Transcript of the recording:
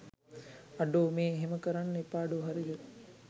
අඩෝ මේ එහෙම කරන්න එපාඩෝ හරිද?